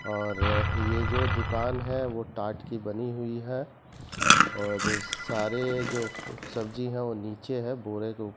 और ये जो दुकान है वो टाट की बनी हुई है और सारे जो फू सब्जी है वो नीचे है बोरे के ऊप --